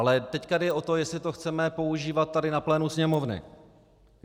Ale teď jde o to, jestli to chceme používat tady na plénu Sněmovny.